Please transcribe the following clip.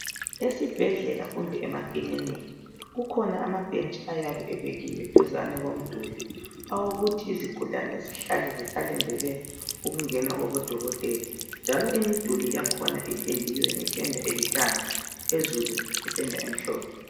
Ezibhedlela kumbe emakiliniki kukhona amabhentshi ayabe ebekiwe duzane kwemiduli awokuthi izigulane zihlale zisalindele ukungena kubodokotela njalo imiduli yakhona ipendiwe ngependa elithanga, phezulu ngependa emhlophe.